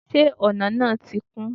se ona náá ti kún?